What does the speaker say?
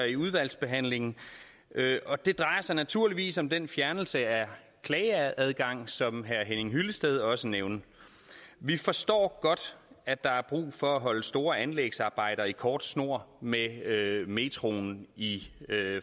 i udvalgsbehandlingen og det drejer sig naturligvis om den fjernelse af klageadgang som herre henning hyllested også nævnte vi forstår godt at der er brug for at holde store anlægsarbejder i kort snor med metroen i